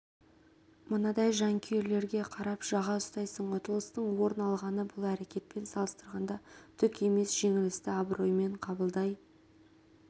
мынадай жанкүйерлерге қарап жаға ұстайсың ұтылыстың орын алғаны бұл әрекетпен салыстырғанда түк емес жеңілісті абыроймен қабылдай